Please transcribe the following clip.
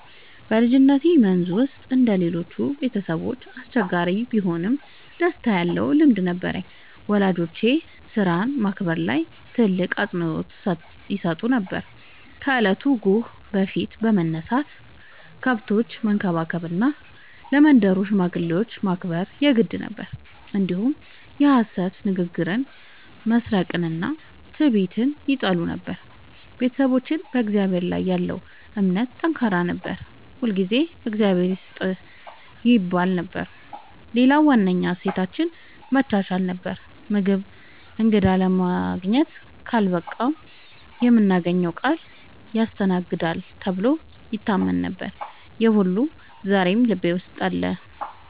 በልጅነቴ መንዝ ውስጥ እንደ ሌሎቹ ቤተሰቦች አስቸጋሪ ቢሆንም ደስታ ያለበት ልምድ ነበረኝ። ወላጆቼ ሥራን ማክበር ላይ ትልቅ አፅንዖት ይሰጡ ነበር፤ ከእለቱ ጎህ በፊት መነሳት፣ ከብቶችን መንከባከብ እና ለመንደሩ ሽማግሌዎች ማክበር የግድ ነበር። እንዲሁም የሐሰት ንግግርን፣ መስረቅንና ትዕቢትን ይጠሉ ነበር። ቤተሰባችን በእግዚአብሔር ላይ ያለው እምነት ጠንካራ ነበር፤ ሁልጊዜ “እግዚአብሔር ይስጥህ” ይባል ነበር። ሌላው ዋነኛ እሴታችን መቻቻል ነበር፤ ምግብ እንግዳ ለማግኘት ካልበቃ የምናገረው ቃል ያስተናግዳል ተብሎ ይታመን ነበር። ይህ ሁሉ ዛሬም ልቤ ውስጥ አለ።